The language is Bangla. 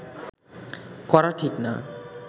করা ঠিক না